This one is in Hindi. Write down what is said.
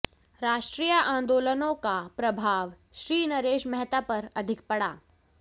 राष्ट्रीय आंदोलनों का प्रभाव श्रीनरेश मेहता पर अधिक पड़ा